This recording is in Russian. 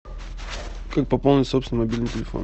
как пополнить собственный мобильный телефон